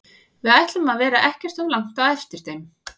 Við ætlum að vera ekkert of langt á eftir þeim.